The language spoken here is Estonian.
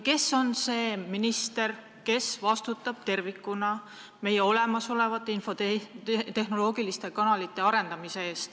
Kes on see minister, kes vastutab tervikuna meie infotehnoloogiliste kanalite arendamise eest?